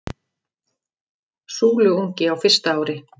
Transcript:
Súluungi á fyrsta ári.